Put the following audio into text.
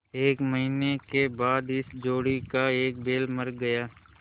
एक महीने के बाद इस जोड़ी का एक बैल मर गया